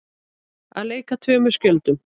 Að leika tveimur skjöldum